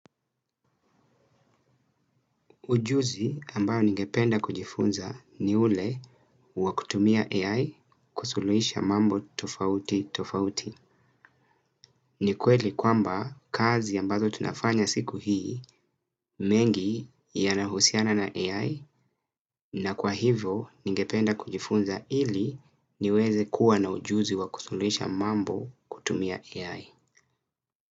Ujuzi ambayo ningependa kujifunza ni ule wa kutumia AI kusuluhisha mambo tofauti tofauti. Ni kweli kwamba kazi ambazo tunafanya siku hii mengi yanahusiana na AI na kwa hivyo ningependa kujifunza ili niweze kuwa na ujuzi wa kusuluhisha mambo kutumia AI.